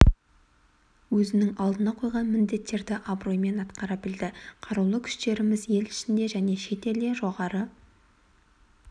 өзінің алдына қойылған міндеттерді абыроймен атқара білді қарулы күштеріміз ел ішінде және шет елде жоғары